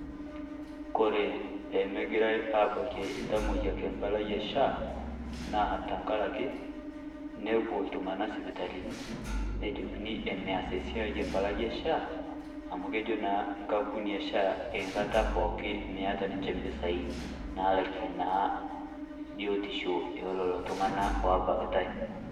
Kore peyie megirae aabakie ltamoyiak empala e SHA, naa tang'araki nepoo iltung'ana sipitalini najokini emees siai empalai e SHA amu kejo naa nkampuni e SHA enkaata pooki meeta ninchee mpisai naalake naa biotisho e nelo itung'ana o baakitai.